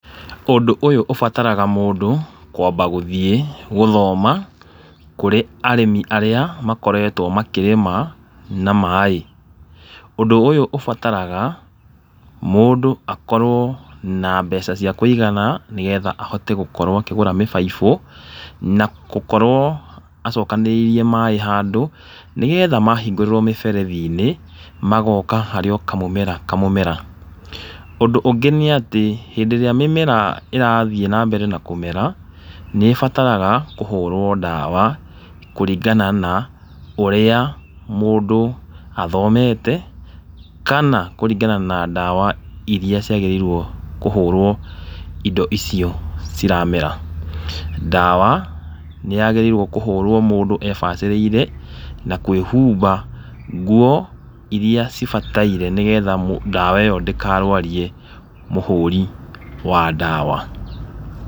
Ũndũ ũyũ ũbataraga mũndũ kwamba gũthiĩ gũthoma kũrĩ arĩmi arĩa makoretwo makĩrĩma na maĩ. Ũndũ ũyũ ũbataraga mũndũ akorwo na mbeca cia kũigana nĩgĩtha ahote gũkorwo akĩgũra mĩbaibũ, na gũkorwo acokanĩrĩirie maĩ handũ, nĩgetha mahingũrĩrũo mĩberethi-inĩ magoka harĩ o kamũmera kamũmera. Ũndũ ũngĩ nĩ atĩ hĩndĩ ĩrĩa mĩmera ĩrathiĩ nambere na kũmera nĩĩbataraga kũhũrwo ndawa, kũringana na ũrĩa mũndũ athomete, kana kũringana na ndawa irĩa ciagĩrĩirwo kũhũrwo indo icio ciremera. Ndawa nĩ yagĩrĩirwo kũhũrwo mũndũ ebacĩrĩire na kwĩhũmba ngũo irĩa cibataire nĩgetha mũ ndawa ĩyo ndĩkarwarie mũhũri wa ndawa.